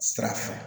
Sira fɛ